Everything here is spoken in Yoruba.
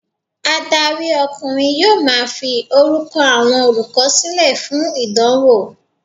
Adarí ọkùnrin yóò ma fi orúkọ àwọn olùkọ́ sílẹ̀ fún ìdánwò.